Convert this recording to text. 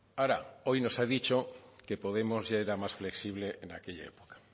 ahora hoy nos ha dicho que podemos ya era más flexible en aquella época